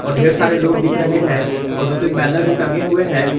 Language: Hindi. और ढेर सारे लोग दिख रहे हैं और दो तीन बैनर भी टंगे हुए हैं।